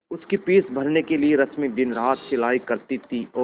उसकी फीस भरने के लिए रश्मि दिनरात सिलाई करती थी और